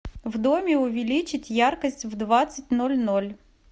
в доме увеличить яркость в двадцать ноль ноль